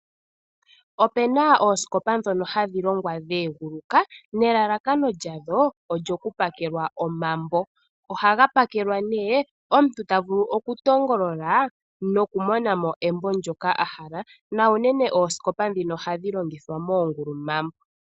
Opuna oosikopa ndhono hadhi longwa dha egulaka nelalakano lyawo olyo ku pakelwa omambo. Ohaga pakelwa nee omuntu ta vulu oku tongolola noku mona mo embo ndoka ahala na unene oosikopa ndhika ohadhi longithwa moongulumambo.